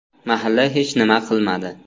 Mahalla hech nima qilmadi.